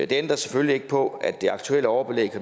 det ændrer selvfølgelig ikke på at det aktuelle overbelæg